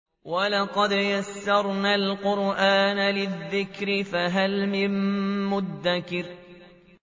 وَلَقَدْ يَسَّرْنَا الْقُرْآنَ لِلذِّكْرِ فَهَلْ مِن مُّدَّكِرٍ